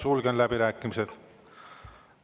Sulgen läbirääkimised.